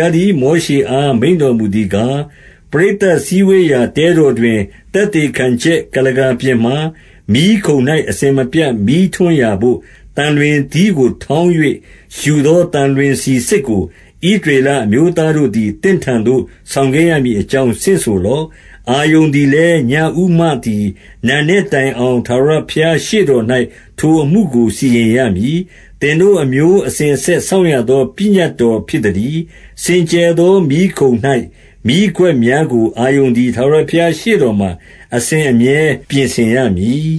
ားသည် မောရှေအား မိန့်တော်မူသည်ကား၊- 2 ပရိသတ်စည်းဝေးရာ တဲတော်တွင် သက်သေခံချက် ကုလားကာပြင်မှာ မီးခုံ၌ အစဉ်မပြတ် မီးထွန်းရာဘို့၊ သံလွင်သီးကို ထောင်း၍ ယူသော သံလွင်ဆီစစ်ကို၊ ဣသရေလအမျိုးသားတို့သည် သင့်ထံသို့ ဆောင်ခဲ့ရမည်အကြောင်း ဆင့်ဆိုလော့။ 3 အာရုန်သည်လည်း၊ ညဦးမှသည် နံနက်တိုင်အောင် ထာဝရဘုရားရှေ့တော်၌ ထိုအမှုကို စီရင်ရမည်။ သင်တို့ အမျိုးအစဉ်အဆက် စောင့်ရသော ပညတ်တော်ဖြစ်သတည်း။ 4 စင်ကြယ်သော မီးခုံ၌ မီးခွက်များကို အာရုန်သည် ထာဝရဘုရား ရှေ့တော်မှာ အစဉ်အမြဲ ပြင်ဆင် ရမည်။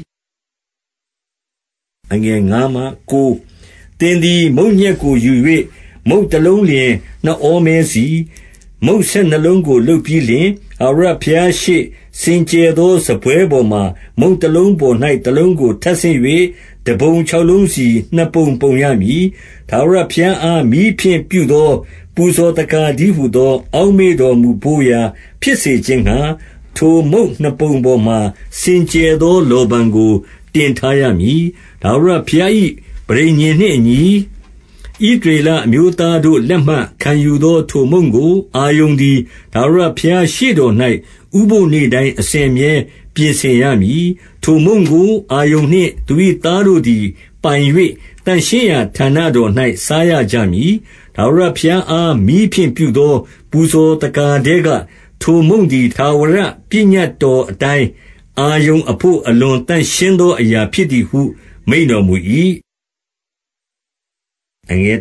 5 သင်သည် မုန့်ညက်ကိုယူ၍၊ မုန့်တလုံးသည် နှစ်ဩမဲစီ၊ မုန့်ဆယ်နှစ်လုံးကို လုပ်ပြီးလျှင်၊- 6 ထာဝရဘုရားရှေ့ စင်ကြယ်သော စားပွဲပေါ်မှာ မုန့်တလုံးပေါ်၌ တလုံးကို ထပ်ဆင့်၍၊ တပုံခြောက်လုံးစီ၊ နှစ်ပုံပုံရမည်။ 7 ထာဝရဘုရားအား မီးဖြင့်ပြုသော ပူဇော်သက္ကာတည်းဟူသော အောက်မေ့တော်မူဘို့ရာ ဖြစ်စေခြင်း ငှါ ထိုမုန့်နှစ်ပုံပေါ်မှာ စင်ကြယ်သော လောဗန်ကို တင်ထားရမည်။- 8 ထာဝရဘုရား ပဠိညာဉ်နှင့်အညီ၊ ဣသရေလအမျိုးသားတို့ လက်မှခံယူသောထိုမုန့်ကို၊ အာရုန်သည် ထာဝရဘုရားရှေ့တော် ဥပုဃ်နေ့တိုင်းအစဉ်အမြဲပြင်ဆင်ရမည်။ 9 ထိုမုန့်ကို အာရုန်နှင့်သူ၏သားတို့သည် ပိုင်၍၊ သန့်ရှင်းရာ ဌာနတော်၌ စားရကြမည်။ ထာဝရဘုရား အား မီးဖြင့်ပြုသော ပူဇော်သက္ကာထဲက ထိုမုန့်သည်၊ ထာဝရပညတ်တော်အတိုင်း၊ အာရုန်အဖို့ အလွန်သန့်ရှင်းသော အရာဖြစ်သည်ဟု မိန့်တော်မူ၏။ 10 အဲ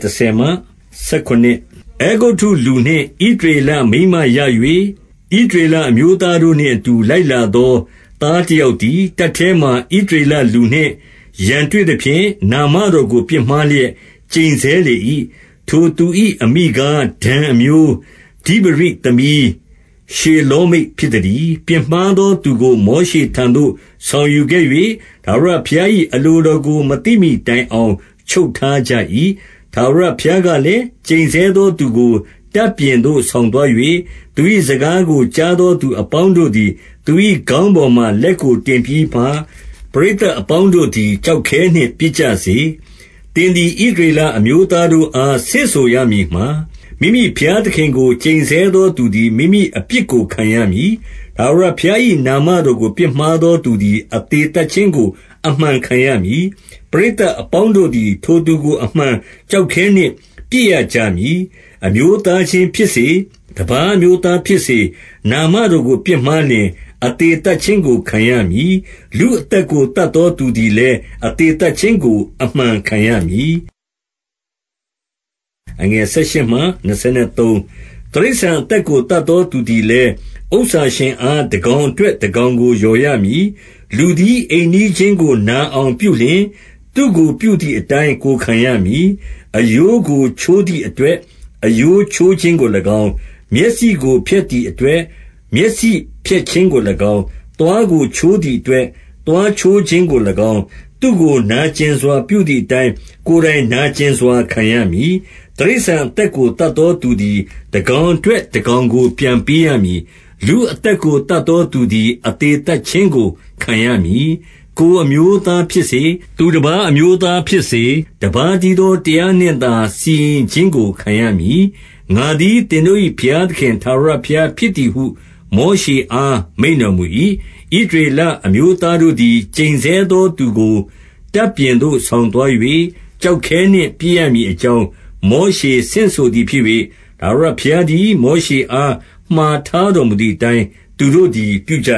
ဂုတ္တုလူနှင့် ဣသရေလမိန်းမရ၍ ဣသရေလအမျိုးသားတို့နှင့်အတူ လိုက်လာသော သားတယောက်သည်၊ တပ်တဲမှာ ဣသရေလလူနှင့် ရန်တွေ့သဖြင့်၊- 11 နာမတော်ကို ပြစ်မှားလျက် ကျိန်ဆဲလေ၏။ ထိုသူ၏ အမိကား၊ ဒန်အမျိုး၊ ဒိဗရိသမီး ရှေလောမိတ် ဖြစ်သတည်း။- 12 ပြစ်မှားသောသူကို မောရှေထံသို့ ဆောင်ယူခဲ့၍ ထာဝရဘုရား၏ အလိုတော်ကို မသိမှီတိုင်အောင် ချုပ်ထားကြ၏။ 13 ထာဝရဘုရားကလည်း၊ ကျိန်ဆဲသောသူကို တပ်ပြင်သို့ ဆောင်သွား၍၊ 14 သူ၏စကားကို ကြားသော သူအပေါင်းတို့သည် သူ၏ခေါင်းပေါ်မှာ လက်ကိုတင်ပြီးမှ၊ ပရိသတ်အပေါင်းတို့သည် ကျောက်ခဲနှင့် ပစ်ကြစေ။- 15 သင်သည် ဣသရေလအမျိုးသားတို့အား ဆင့်ဆိုရမည်မှာ၊ မိမိဘုရားသခင်ကို ကျိန်ဆဲသောသူသည် မိမိအပြစ်ကို ခံရမည်။- 16 ထာဝရဘုရား၏ နာမတော်ကို ပြစ်မှားသောသူသည် အသေသတ်ခြင်းကို အမှန်ခံရမည်။ ပရိသတ် အပေါင်းတို့သည် ထိုသူကို အမှန် ကျောက်ခဲနှင့် ပစ်ရကြမည်။ အမျိုးသားချင်းဖြစ်စေ၊ တပါး အမျိုးသားဖြစ်စေ၊ နာမတော်ကို ပြစ်မှားလျှင် အသေသတ်ခြင်းကို ခံရမည်။ 17 လူအသက်ကို သတ်သောသူသည်လည်း အသေသတ်ခြင်းကို အမှန်ခံရမည်။ 18 တိရစ္ဆာန်အသက်ကို သတ်သောသူသည်လည်း ဥစ္စာရှင်အား တကောင်အတွက် တကောင်ကို လျော်ရမည်။ 19 လူသည် အိမ်နီးချင်းကို နာအောင်ပြုလျှင်၊ သူ့ကိုပြုသည်အတိုင်း ကိုယ်ခံရမည်။ 20 အရိုးကို ချိုးသည်အတွက် အရိုးချိုးခြင်းကို၎င်း၊ မျက်စိကိုဖျက်သည့်အတွက်၊ မျက်စိဖျက်ခြင်းကို၎င်း၊ သွားကိုချိုးသည်အတွက်၊ သွားချိုးခြင်းကို၎င်း၊ သူ့ကို နာကျင်စွာပြုသည်အတိုင်း၊ ကိုယ်တိုင်နာကျင် စွာ ခံရမည်။- 21 တိရစ္ဆာန်အသက်ကို သတ်သောသူသည်၊ တကောင်အတွက်၊ တကောင်ကို ပြန်ပေးရမည်။ လူအသက် ကို သတ်သောသူသည် အသေသတ်ခြင်းကို ခံရမည်။ 22 ကိုယ်အမျိုးသားဖြစ်စေ၊ သူတပါးအမျိုးသားဖြစ်စေ၊ တပါးတည်းသောတရားနှင့်သာ စီရင်ခြင်းကို ခံရမည်။ ငါသည် သင်တို့၏ ဘုရားသခင် ထာဝရဘုရားဖြစ်သည်ဟု မောရှေအား မိန့်တော်မူ၏။- 23 ဣသရေလအမျိုးသားတို့သည်၊ ကျိန်ဆဲသောသူကို တပ်ပြင်သို့ ဆောင်သွား၍၊ ကျောက်ခဲနှင့် ပစ်ရမည် အကြောင်း မောရှေဆင့်ဆိုသည်ဖြစ်၍ ထာဝရဘုရားသည် မောရှေအား မှာထားတော်မူသည် အတိုင်း သူတို့သည် ပြုကြ